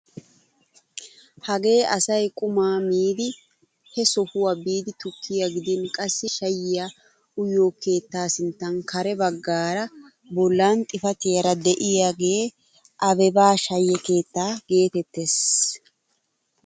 Hagee asay qumaa miidi he sohuwaa bidi tukkiyaa gidin qassi shayiyaa uyiyoo keettaa sinttan kare baggaara bollan xifatiyaara de'iyaagee abeba shaye keettaa getettees!